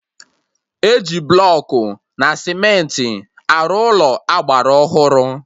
Eji blọkụ na cementị arụ Ụlọ agbara ọhụrụ